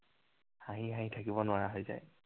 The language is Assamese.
হাঁহি হাঁহি থাকিব নোৱাৰা হৈ যায়।